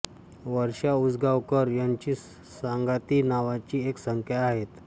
वर्षा उसगांवकर यांची सांगाती नावाची एक संस्था आहे